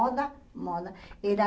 Moda, moda era